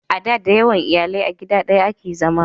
a da da yawan iyalai a gida daya a ke zama